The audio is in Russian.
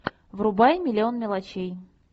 врубай миллион мелочей